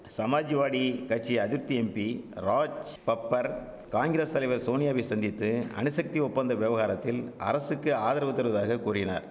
சமாஜ்வாடி கட்சி அதிர்ப்தி எம்பி ராஜ்பப்பர் காங்கிரஸ் தலைவர் சோனியாவை சந்தித்து அணுசக்தி ஒப்பந்த வெவகாரத்தில் அரசுக்கு ஆதரவு தருவதாக கூறினார்